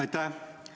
Aitäh!